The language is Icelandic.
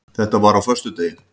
Þetta var á föstudegi.